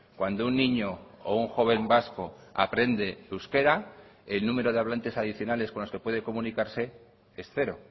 cuando un niño o un joven vasco aprende euskera el número de hablantes adicionales con los que puede comunicarse es cero